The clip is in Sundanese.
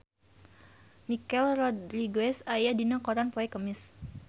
Michelle Rodriguez aya dina koran poe Kemis